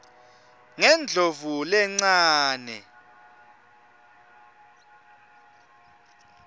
ngendlovulencane